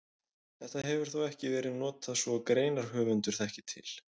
Þetta hefur þó ekki verið notað svo greinarhöfundur þekki til.